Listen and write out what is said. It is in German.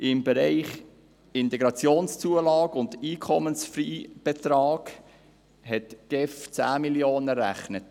Im Bereich Integrationszulagen und Einkommensfreibetrag hat die GEF 10 Mio. Franken errechnet.